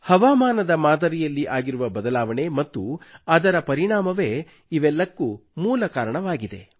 ಹವಾಮಾನ ಮಾದರಿಯಲ್ಲಿ ಆಗಿರುವ ಬದಲಾವಣೆ ಮತ್ತು ಅದರ ಪರಿಣಾಮವೇ ಇವೆಲ್ಲಕ್ಕೂ ಮೂಲ ಕಾರಣವಾಗಿದೆ